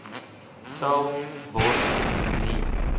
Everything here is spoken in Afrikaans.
sal word nie